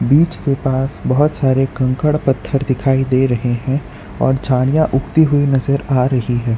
बीच के पास बहुत सारे कंकड़ पत्थर दिखाई दे रहे हैं और झाड़ियां उगती हुई नजर आ रही है।